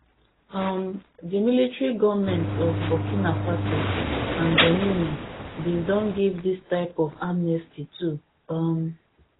um di military goments of burkina faso and guninea bin don give dis type of amnesty too um